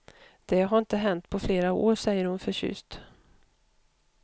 Det har inte hänt på flera år, säger hon förtjust.